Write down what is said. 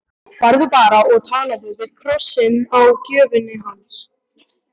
Farðu bara og talaðu við krossinn á gröfinni hans.